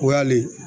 O y'ale